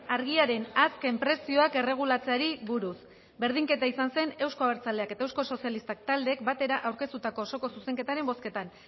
argiaren azken prezioak erregulatzeari buruz berdinketa izan zen euzko abertzaleak eta euskal sozialistak taldeek batera aurkeztutako osoko zuzenketaren bozketan